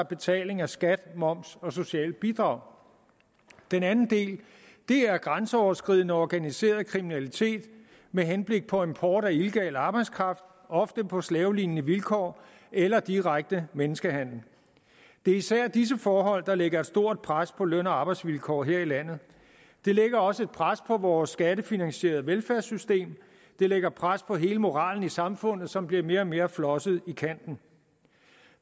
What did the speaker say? betaling af skat moms og socialt bidrag den anden del er grænseoverskridende organiseret kriminalitet med henblik på import af illegal arbejdskraft ofte på slavelignende vilkår eller direkte menneskehandel det er især disse forhold der lægger et stort pres på løn og arbejdsvilkår her i landet det lægger også et pres på vores skattefinansierede velfærdssystem det lægger pres på hele moralen i samfundet som bliver mere og mere flosset i kanten